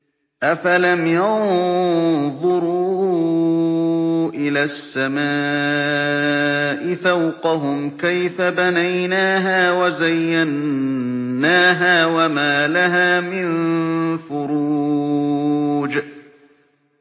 أَفَلَمْ يَنظُرُوا إِلَى السَّمَاءِ فَوْقَهُمْ كَيْفَ بَنَيْنَاهَا وَزَيَّنَّاهَا وَمَا لَهَا مِن فُرُوجٍ